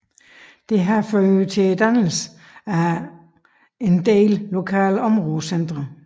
Dette har ført til dannelsen af adskillige lokale områdecentre